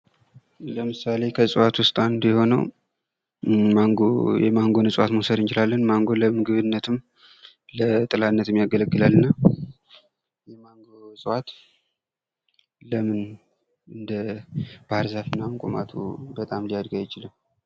ለምሳሌ ከእጽዋት ውስጥ አንዱ የሆነው የማንጎ እጽዋትን መውሰድ እንችላለን። ማንጎ ለምግብነትም፣ ለጥላነትም የሚያገለግለን ነው። የማንጎ እጽዋት ለምን እንደ ባህርዛፍ ምናምን ቁመቱ በጣም ሊያድግ አይችልም?